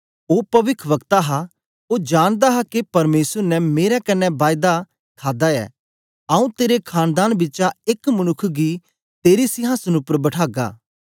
ओ पविखवक्ता हा ओ जानदा हा के परमेसर ने मेरे कन्ने बायदा खादी ऐ आंऊँ तेरे खानदान बिचा एक मनुक्ख गी तेरे सिंहासन उपर बठागा